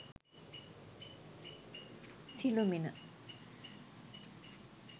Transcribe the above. sillumina